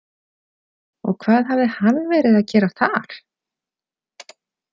Og hvað hafði hann verið að gera þar?